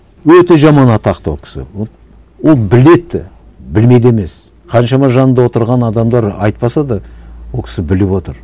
өте жаман атақты ол кісі ол біледі де білмейді емес қаншама жанында отырған адамдар айтпаса да ол кісі біліп отыр